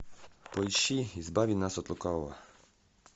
поищи избави нас от лукавого